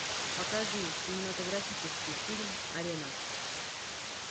покажи кинематографический фильм арена